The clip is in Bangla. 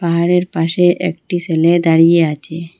পাহাড়ের পাশে একটি সেলে দাঁড়িয়ে আছে।